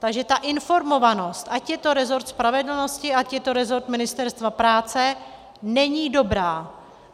Takže ta informovanost, ať je to rezort spravedlnosti, ať je to rezort Ministerstva práce, není dobrá.